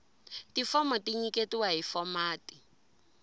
tifomo ti nyiketiwa hi fomati